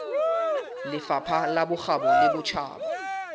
lefapha la bokgabo le botjhaba